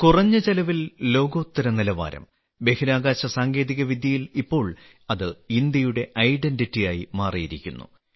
കുറഞ്ഞ ചെലവിൽ ലോകോത്തര നിലവാരം ബഹിരാകാശ സാങ്കേതികവിദ്യയിൽ ഇപ്പോൾ അത് ഇന്ത്യയുടെ ഐഡന്റിറ്റിയായി മാറിയിരിക്കുന്നു